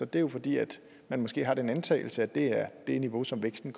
det er jo fordi man måske har den antagelse at det er det niveau som væksten